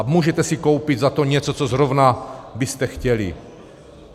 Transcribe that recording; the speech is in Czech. A můžete si koupit za to něco, co zrovna byste chtěli!